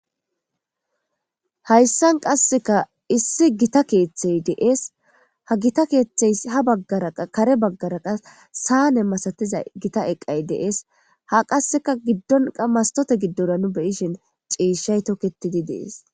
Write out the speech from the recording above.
Hayssan qasseka issi gita keeththey deees, ha gita keeththey ha baggaraqa kare baggaraqa saane masatiza gita eqqay deees ha qasseka giddonqa mastote giddora nu beyishin ciishay tokketidi deees.